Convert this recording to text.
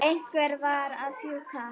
Einhver varð að fjúka.